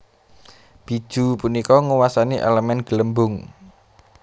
Bijuu punika nguwasani elemen Gelembung